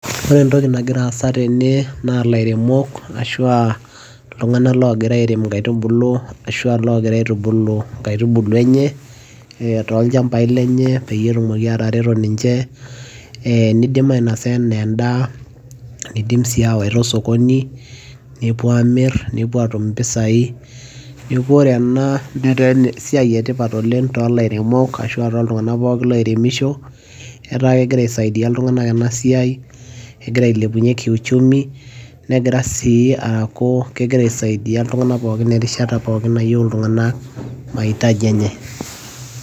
ore entoki nagira aasa tene naa ilairemok ashu a iltungank oogira airem inkaitubulu, ashu aa loogira aitubulu inkaitubulu enye, toolchampai lenye peyie etumoki aatareto ninche, nidim ainosa ana edaa, neidim sii aawaita osokoni. nepuo aamir nepuo aatumm impisai. neku ore ena netaa esiai etipat oleng too lairemok ashu aa tooltunganak pokin oiremisho ,etaa kegira aisaidia iltunganak ena isiai, kegira ailepunye k kiuchumi netaa si kegira aisidia enkata pookin nayieu iltungank maitaji enye.